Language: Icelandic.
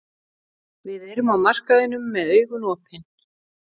Við erum á markaðinum með augun opin.